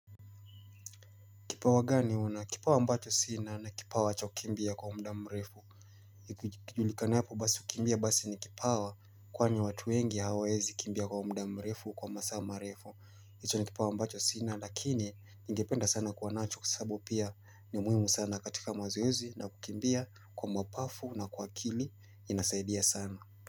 Kipawa gani una? Kipawa ambacho sina ni kipawa cha kukimbia kwa muda mrefu. Kijulikanapo basi kukimbia basi ni kipawa kwani watu wengi hawawezi kimbia kwa muda mrefu kwa masaa marefu. Icho ni kipawa mbacho sina lakini ningependa sana kuwa nacho kwa sababu pia ni muhimu sana katika mazoezi na kukimbia kwa mapafu na kwa akili inasaidia sana.